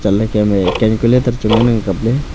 lah kem e calculator chu ngan ang kapley.